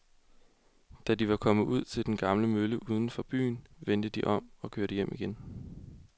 Da de var kommet ud til den gamle mølle uden for byen, vendte de om og kørte hjem igen.